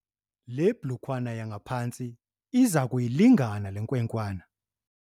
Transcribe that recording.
Le blukwana yangaphantsi iza kuyilingana le nkwenkwana.